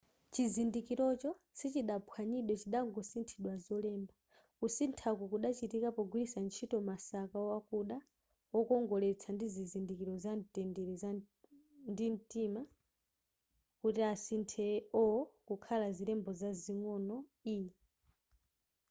chizindikirocho sichidaphwanyidwe chidangosinthidwa zolemba kusinthaku kudachitika pogwiritsa ntchito masaka akuda wokongoletsa ndi zizindikiro zamtendere ndi mtima kuti asinthe o kukhala zilembo zazing'ono e